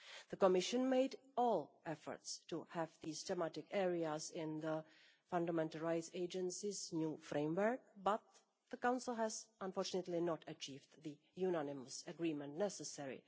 The Commission made all efforts to have these thematic areas in the Fundamental Rights Agency's new framework, but the Council has unfortunately not achieved the unanimous agreement necessary.